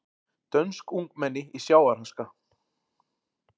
Dönsk ungmenni í sjávarháska